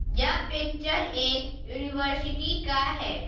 यह पिक्चर एक यूनिवर्सिटी का है।